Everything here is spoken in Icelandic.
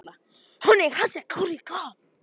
Hún fylgdi honum niður á bryggju í morgunsárið.